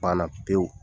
Banna pewu